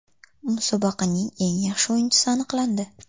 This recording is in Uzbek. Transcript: Musobaqaning eng yaxshi o‘yinchisi aniqlandi.